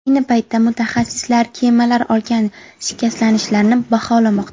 Ayni paytda mutaxassislar kemalar olgan shikastlanishlarni baholamoqda.